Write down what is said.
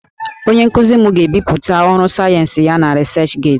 Onye nkuzi m ga-ebipụta ọrụ sayensị ya na 'researchgate'